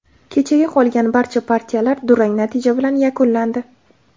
Kechagi qolgan barcha partiyalar durang natija bilan yakunlandi.